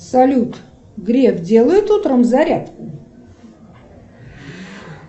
салют греф делает утром зарядку